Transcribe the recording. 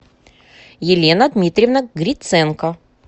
елена дмитриевна гриценко